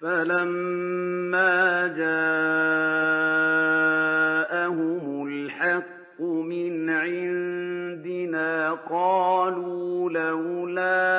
فَلَمَّا جَاءَهُمُ الْحَقُّ مِنْ عِندِنَا قَالُوا لَوْلَا